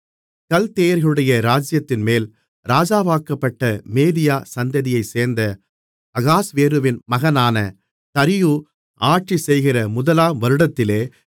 கல்தேயர்களுடைய ராஜ்ஜியத்தின்மேல் ராஜாவாக்கப்பட்ட மேதிய சந்ததியைச்சேர்ந்த அகாஸ்வேருவின் மகனான தரியு ஆட்சிசெய்கிற முதலாம் வருடத்திலே